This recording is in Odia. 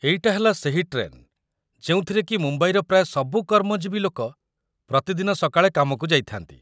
ଏଇଟା ହେଲା ସେହି ଟ୍ରେନ୍ ଯେଉଁଥିରେକି ମୁମ୍ବାଇର ପ୍ରାୟ ସବୁ କର୍ମଜୀବୀ ଲୋକ ପ୍ରତିଦିନ ସକାଳେ କାମକୁ ଯାଇଥାଆନ୍ତି ।